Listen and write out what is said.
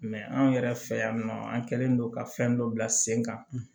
anw yɛrɛ fɛ yan nɔ an kɛlen don ka fɛn dɔ bila sen kan